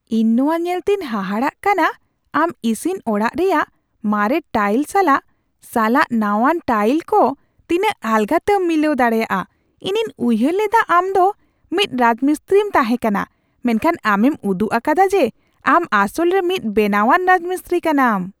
ᱤᱧ ᱱᱚᱣᱟ ᱧᱮᱞᱛᱮᱧ ᱦᱟᱦᱟᱲᱟᱜ ᱠᱟᱱᱟ ᱟᱢ ᱤᱥᱤᱱ ᱚᱲᱟᱜ ᱨᱮᱭᱟᱜ ᱢᱟᱨᱮ ᱴᱟᱭᱤᱞ ᱥᱟᱞᱟᱜ ᱥᱟᱞᱟᱜ ᱱᱟᱶᱟᱱ ᱴᱟᱭᱤᱞ ᱠᱚ ᱛᱤᱱᱟᱹᱜ ᱟᱞᱜᱟᱛᱮᱢ ᱢᱤᱞᱟᱹᱣ ᱫᱟᱲᱮᱭᱟᱫᱟ ᱾ ᱤᱧᱤᱧ ᱩᱭᱦᱟᱹᱨ ᱞᱮᱫᱟ ᱟᱢᱫᱚ ᱢᱤᱫ ᱨᱟᱡᱢᱤᱥᱛᱨᱤᱢ ᱛᱟᱦᱮᱸᱠᱟᱱᱟ ᱢᱮᱱᱠᱷᱟᱱ ᱟᱢᱮᱢ ᱩᱫᱩᱜ ᱟᱠᱟᱫᱟ ᱡᱮ ᱟᱢ ᱟᱥᱚᱞ ᱨᱮ ᱢᱤᱫ ᱵᱮᱱᱟᱣᱟᱱ ᱨᱟᱡᱢᱤᱥᱛᱨᱤ ᱠᱟᱱᱟᱢ ᱾